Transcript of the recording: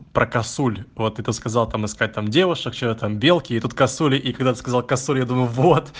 про косуль вот ты это сказал там искать там девушек что это белки и тут косули и когда ты сказал косуль я думаю вот